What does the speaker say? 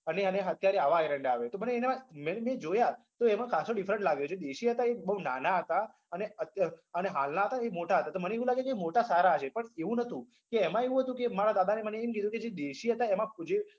અને અને અત્યારે આવા એરંડા આવે છે તો મેં જોયા તો એમાં ખાસો different લાગ્યો જે દેશી હતા એ બોઉં નાના હતા અને અત્યાર અને હાલના હતા એ મોટા હતા તો મને એવું લાગ્યું કે મોટા સારા હશે પણ એવું નતું કે એમાં એવું હતું મારા દાદાએ મને એમ કીધું કે જે દેશી હતા એમાં જે